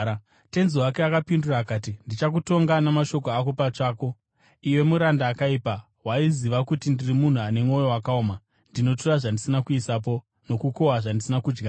“Tenzi wake akapindura akati, ‘Ndichakutonga namashoko ako pachako, iwe muranda akaipa! Waiziva kuti ndiri munhu ane mwoyo wakaoma, ndinotora zvandisina kuisapo, nokukohwa zvandisina kudyara?